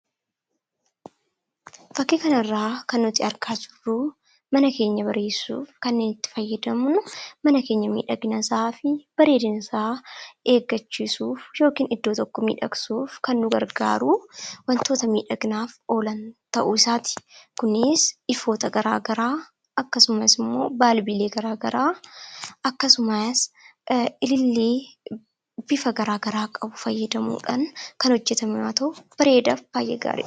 Fakkii kanarraa kan nuti argaa jirru mana keenya bareessuuf kan nuti itti fayyadamnu mana keenya bareedina isaa fi miiidhagina isaa eeggachiisuuf yookaan iddoo tokko miidhagsuuf kan nu gargaaru wantoota miidhaginaaf oolan ta'uu isaati. Kunis ifoota gara garaa akkasumas immoo balbiilee gara garaa akkasumas ilillii bifa gara garaa qabu fayyadamuudhaan kan hojjetaman yoo ta’u, bareedaaf baay'ee gaariidha.